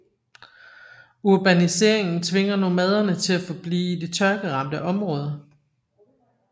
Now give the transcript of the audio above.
Urbaniseringen tvinger nomaderne til at forblive i de tørkeramte områder